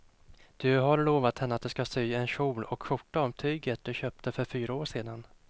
Du har lovat henne att du ska sy en kjol och skjorta av tyget du köpte för fyra år sedan.